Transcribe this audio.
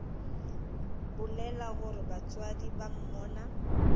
bolela gore batswadi ba monna